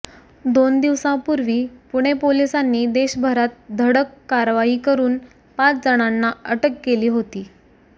दोन दिवसांपूर्वी पुणे पोलिसांनी देशभरात धडक कारवाई करून पाच जणांना अटक केली होती